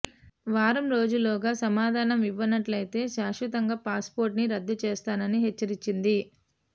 వారం రోజులలోగా సమాధానం ఇవ్వనట్లయితే శాస్వితంగా పాస్ పోర్ట్ ని రద్దు చేస్తానని హెచ్చరించింది